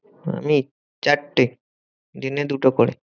আমি? চারটে দিনে দুটো করে।